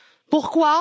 Pourquoi?